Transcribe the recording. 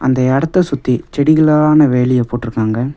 இந்த இடத்தை சுத்தி செடிகளான வேலிய போட்டிருக்காங்க.